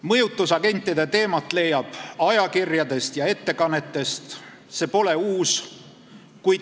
Mõjutusagentide teemat leiab ajakirjadest ja ettekannetest – see pole uus.